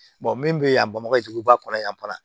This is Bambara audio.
min bɛ yan bamakɔ yan fana